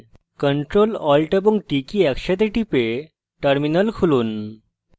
ctrl alt এবং t key একসাথে টিপে terminal খুলুন